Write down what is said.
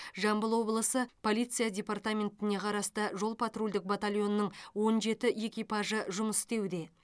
жамбыл облысы полиция департаментіне қарасты жол патрульдік батальонінің он жеті экипажы жұмыс істеуде